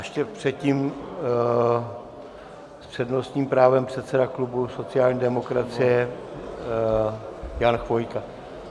Ještě předtím s přednostním právem předseda klubu sociální demokracie Jan Chvojka.